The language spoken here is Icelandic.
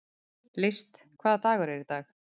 List, hvaða dagur er í dag?